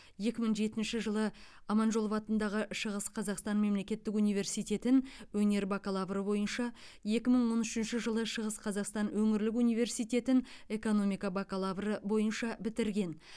екі мың жетінші жылы аманжолов атындағы шығыс қазақстан мемлекеттік университетін өнер бакалаврыбойынша екі мың он үшінші жылы шығыс қазақстан өңірлік университетін экономика бакалаврыбойынша бітірген